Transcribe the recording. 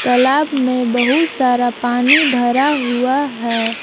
तालाब में बहुत सारा पानी भरा हुआ है।